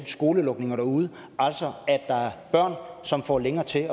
skolelukninger derude altså at der er børn som får længere til